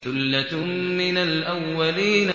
ثُلَّةٌ مِّنَ الْأَوَّلِينَ